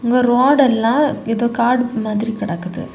இங்க ரோடு எல்லா ஏதோ காடு மாதிரி கிடைக்குது.